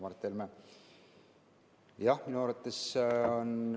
Aitäh, härra Mart Helme!